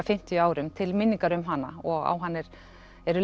fimmtíu árum til minningar um hana og á hann eru